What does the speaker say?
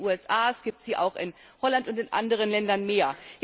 Es gibt sie in den USA, es gibt sie auch in Holland und in anderen Ländern mehr.